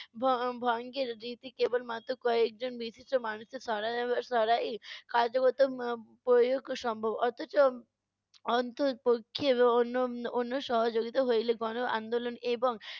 ভ~ ভঙ্গের রীতি কেবলমাত্র কয়েকজন মানুষের ছরা~ ছড়ায়ই। কার্যগত উম প্রয়োগ সম্ভব অথচ, অন্তরপক্ষে অ~ অন~ অন্য সহযোগিতা হইলে গনআন্দোলন এবং,